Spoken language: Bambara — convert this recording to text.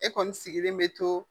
E kɔni sigilen bɛ to